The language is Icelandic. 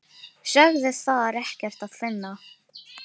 Sögðu þar ekkert að finna.